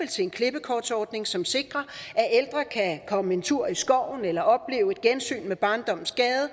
til en klippekortordning som sikrer at ældre kan komme en tur i skoven eller opleve et gensyn med barndommens gade og